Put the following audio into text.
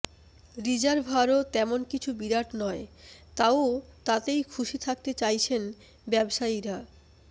রিজার্ভারও তেমন কিছু বিরাট নয় তাও তাতেই খুশি থাকতে চাইছেন ব্যবসায়ীরা